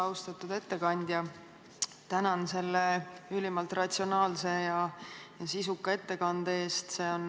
Austatud ettekandja, tänan selle ülimalt ratsionaalse ja sisuka ettekande eest!